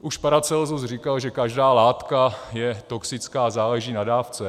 Už Paracelsus říkal, že každá látka je toxická a záleží na dávce.